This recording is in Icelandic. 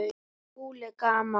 SKÚLI: Gaman!